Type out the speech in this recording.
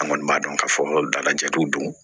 An kɔni b'a dɔn k'a fɔ dalajɛ dun don